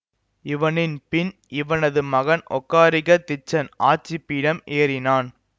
இவனின் பின் இவனது மகன் ஒகாரிக திச்சன் ஆட்சிபீடம் ஏறினான்